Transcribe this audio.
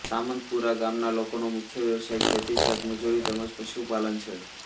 સામંતપુરા ગામના લોકોનો મુખ્ય વ્યવસાય ખેતી ખેતમજૂરી તેમ જ પશુપાલન છે